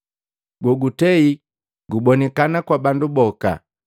gogutei gubonikana kwa bandu boka,